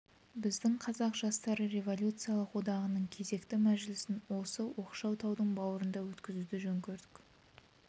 біздің қазақ жастары революциялық одағының кезекті мәжілісін осы оқшау таудың бауырында өткізуді жөн көрдік